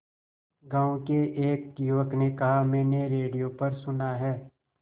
गांव के एक युवक ने कहा मैंने रेडियो पर सुना है